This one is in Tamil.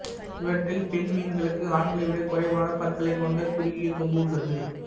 இவற்றில் பெண் மீன்களுக்கு ஆண்களை விட குறைவான பற்களைக் கொண்ட குறுகிய கொம்பு உள்ளது